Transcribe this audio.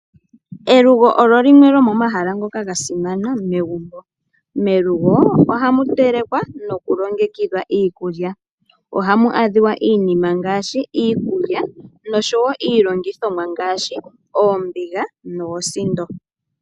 Elugo olyo limwe lyomomahala ngoka ga simana megumbo. Melugo ohamu telekwa ,nokulongekidhwa iikulya. Ohamu adhika iinima ngaashi iikulya noshowo iilongithomwa ngaashi oombiga noosindo.